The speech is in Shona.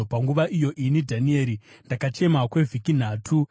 Panguva iyo, ini, Dhanieri ndakachema kwevhiki nhatu.